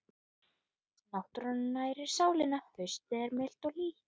Náttúran nærir sálina Haustið er milt og hlýtt.